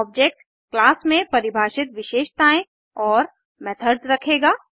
object class में परिभाषित विशषताएं और मेथड्स रखेगा